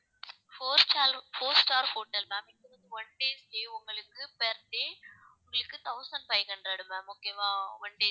four sta~ four star hotel ma'am இங்க வந்து one day stay உங்களுக்கு per day உங்களுக்கு thousand five hundred ma'am okay வா one day